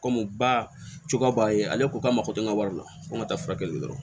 Komi bacogo b'a ye ale ko k'a mako tɛ n ka wari la ko n ka taa furakɛli